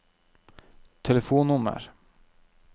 telefonnummer